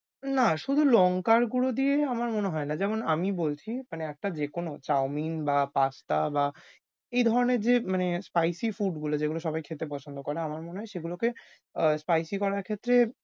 না, শুধু লঙ্কার গুড়ো দিয়েই আমার মনে হয় যা। যেমন আমি বলছি মানে একটা যেকোন chow mein বা pasta বা এই ধরনের যে মানে spicy food গুলো যেগুলো সবাই খেতে পছন্দ করে আমার মনে হয় সেগুলোকে আহ spicy করার ক্ষেত্রে